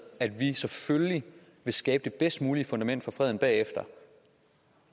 at vi selvfølgelig vil skabe det bedst mulige fundament for freden bagefter